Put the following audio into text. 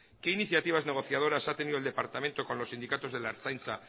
qué iniciativas negociadoras ha tenido el departamento con los sindicatos de la ertzaintza